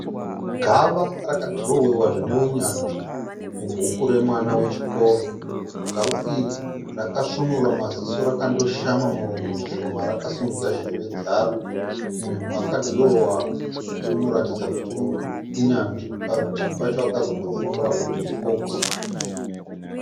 Gava rakadhirowewa zvine unyanzvi mubhuku remwana wechikoro. Gava iri rakasvinura ramaziso rakandoshama muromo zvishoma rakasimudza zheve dzaro. Munhu akadhirowa anotaridza kuti inyanzvi. Padivi pacho akazopanyorwa kuti fokisi.